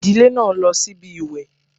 Ìdílé náà lọ síbi ìwẹ̀